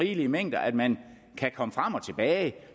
rigelige mængder at man kan komme frem og tilbage